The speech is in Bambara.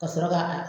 Ka sɔrɔ ka